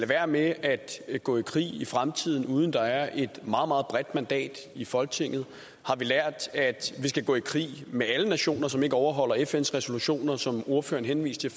være med at gå i krig i fremtiden uden at der er et meget meget bredt mandat i folketinget har vi lært at vi skal gå i krig med alle nationer som ikke overholder fns resolutioner som ordføreren henviste